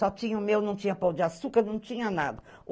Só tinha o meu, não tinha pão de açúcar, não tinha nada.